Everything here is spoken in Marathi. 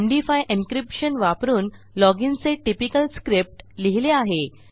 एमडी5 encryptionवापरून लॉग inचे टिपिकल स्क्रिप्ट लिहिले आहे